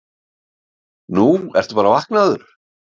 Þú ert bara vaknaður.